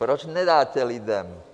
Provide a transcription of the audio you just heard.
Proč nedáte lidem?